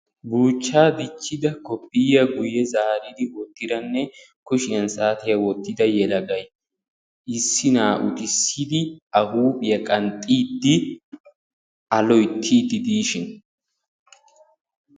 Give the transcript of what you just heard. Buuchchaa dichchida koffiyyaa guyye zaaridi wottidanne kushiyan saatiya wottida yelagay issi na'aa utissidi A huuphiya qanxxiiddi A loyttiiddi diishin.